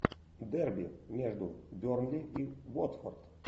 дерби между бернли и уотфорд